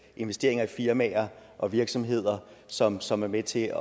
investeringer i firmaer og virksomheder som som er med til